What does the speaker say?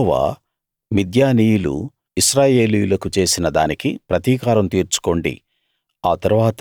యెహోవా మిద్యానీయులు ఇశ్రాయేలీయులకు చేసిన దానికి ప్రతీకారం తీర్చుకోండి